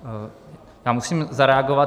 Já musím zareagovat.